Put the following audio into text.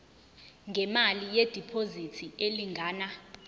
ngemali yediphozithi elingana